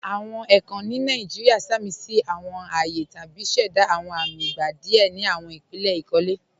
Awọn èèkàn ni Nàìjíríà sàmísí awọn ààyè tàbí ṣẹ̀dá awọn amì ìgbà díẹ̀ ni awọn ìpílẹ̀ ikólẹ̀.